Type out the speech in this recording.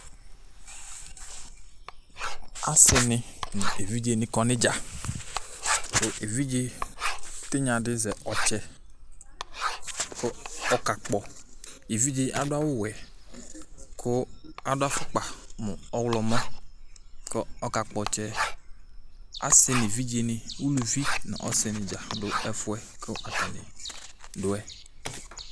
Asini nu evidze ni kɔ nʋ idzakʋ evidze tinya di azɛ ɔtsɛkʋ ɔkakpɔevidze yɛ adʋ awu'wɛku adʋ afukpa, nu ɔɣlɔmɔkʋ ɔkakpɔ ɔtsɛ yɛasi nu evidze niuluvi nu ɔsini dzakplo du ɛfuɛ kʋ atani dʋ yɛ